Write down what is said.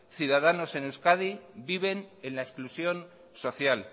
ciudadanos en euskadi viven en la exclusión social